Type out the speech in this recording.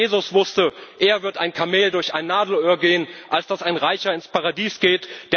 Schon Jesus wusste Eher wird ein Kamel durch ein Nadelöhr gehen, als dass ein Reicher ins Paradies